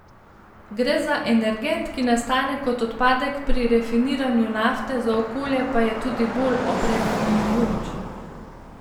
Gre za energent, ki nastane kot odpadek pri rafiniranju nafte, za okolje pa je tudi bolj obremenjujoč.